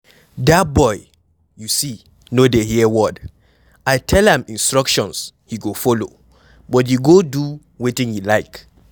Dat boy you see no dey hear word, I tell am the instructions he go follow but he go do wetin he like.